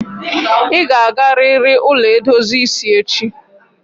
I ga agariri ụlọ edozi isi echi!